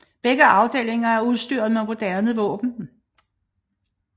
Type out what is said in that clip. Begge afdelinger er udstyret med moderne våben